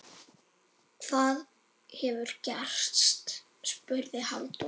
Hvað hefur gerst? spurði Halldór.